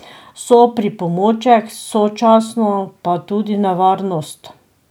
So pripomoček, sočasno pa tudi nevarnost.